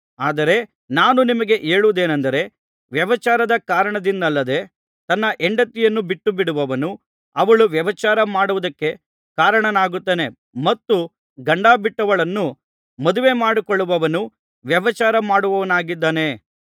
ಆದರೆ ನಾನು ನಿಮಗೆ ಹೇಳುವುದೇನಂದರೆ ವ್ಯಭಿಚಾರದ ಕಾರಣದಿಂದಲ್ಲದೆ ತನ್ನ ಹೆಂಡತಿಯನ್ನು ಬಿಟ್ಟುಬಿಡುವವನು ಅವಳು ವ್ಯಭಿಚಾರ ಮಾಡುವುದಕ್ಕೆ ಕಾರಣನಾಗುತ್ತಾನೆ ಮತ್ತು ಗಂಡಬಿಟ್ಟವಳನ್ನು ಮದುವೆಮಾಡಿಕೊಳ್ಳುವವನು ವ್ಯಭಿಚಾರಮಾಡುವವನಾಗಿದ್ದಾನೆ